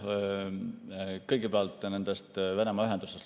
Kõigepealt nendest Venemaa ühendustest.